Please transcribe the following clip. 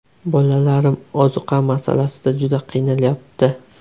Bolalarim ozuqa masalasida juda qiynalyapti.